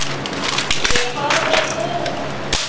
Ég horfi út.